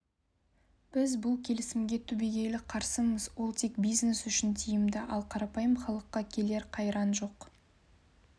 біз бұл келісімге түбегейлі қарсымыз ол тек бизнес үшін тиімді ал қарапайым халыққа келер қайран жоқ